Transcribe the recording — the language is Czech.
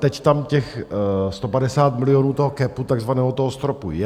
Teď tam těch 150 milionů toho capu takzvaného, toho stropu, je.